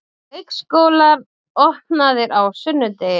Leikskólar opnaðir á sunnudegi